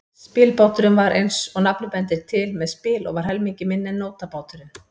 Spilbáturinn var, eins og nafnið bendir til, með spil og var helmingi minni en nótabáturinn.